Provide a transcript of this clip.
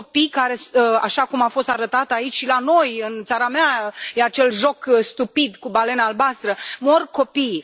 Sunt copii care, așa cum a fost arătat aici și la noi, în țara mea, e acel joc stupid, cu balena albastră mor copiii.